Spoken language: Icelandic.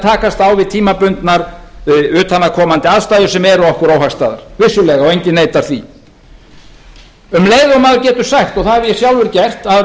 takast á við tímabundnar utanaðkomandi aðstæður sem eru okkur óhagstæðar vissulega og enginn neitar því um leið og maður getur sagt og það hef ég sjálfur gert að